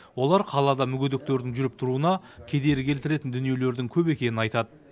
олар қалада мүгедектердің жүріп тұруына кедергі келтіретін дүниелердің көп екенін айтады